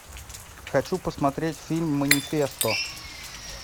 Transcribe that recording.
хочу посмотреть фильм манифесто